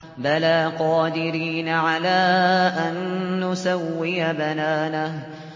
بَلَىٰ قَادِرِينَ عَلَىٰ أَن نُّسَوِّيَ بَنَانَهُ